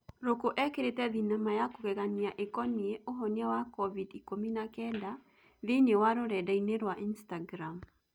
Rũkũ ekĩrĩte thinema ya kũgegania ĩkonie, ũhonia wa Covid ikũmi na kenda thĩinĩ wa rũrendainĩ rwa Instagram